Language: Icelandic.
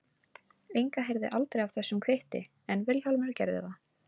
Inga heyrði aldrei af þessum kvitti en Vilhjálmur gerði það.